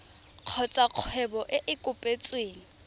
kgotsa kgwebo e e kopetsweng